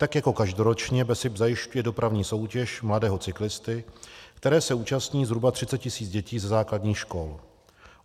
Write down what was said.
Tak jako každoročně BESIP zajišťuje dopravní soutěž Mladého cyklisty, které se účastní zhruba 30 tis. dětí ze základních škol.